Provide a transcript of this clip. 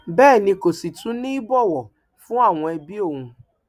bẹẹ ni kò sì tún ní ìbọwọ fún àwọn ẹbí òun